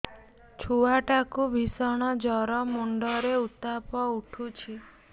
ଛୁଆ ଟା କୁ ଭିଷଣ ଜର ମୁଣ୍ଡ ରେ ଉତ୍ତାପ ଉଠୁଛି